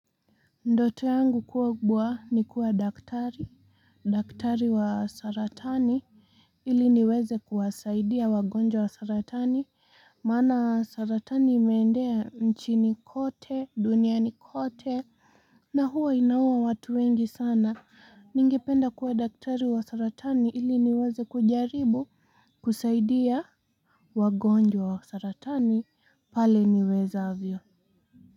Ndoto yangu kuwa kubwa ni kuwa daktari daktari wa saratani ili niweze kuwasaidia wagonjwa wa saratani maana saratani imeenea chini kote duniani kote na huwa inaua watu wengi sana ningependa kuwa daktari wa saratani ili niweze kujaribu kusaidia wagonjwa wa saratani pale niwezavyo.